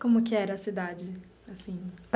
Como que era a cidade assim?